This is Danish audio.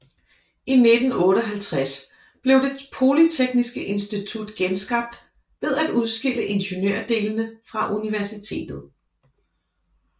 I 1958 blev det polyteksniske institut genskabt ved af udskille ingeniørdelene fra universitetet